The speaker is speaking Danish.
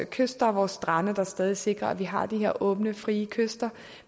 kyster og strande der stadig sikrer at man har de her åbne og frie kyster